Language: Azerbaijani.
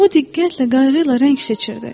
O diqqətlə, qayğıyla rəng seçirdi.